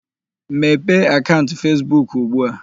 Mepee akaụnt Fesbuk ugbu a!